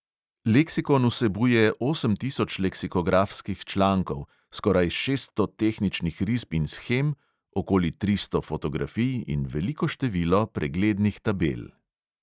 Leksikon vsebuje osem tisoč leksikografskih člankov, skoraj šeststo tehničnih risb in shem, okoli tristo fotografij in veliko število preglednih tabel.